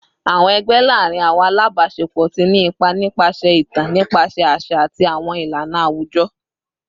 Awọn ẹgbẹ laarin awọn alabaṣepọ ti ni ipa nipasẹ itan nipasẹ aṣa ati awọn ilana awujọ